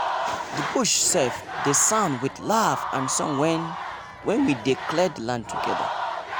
the bush sef dey sound with laugh and song wen we dey clear the land together.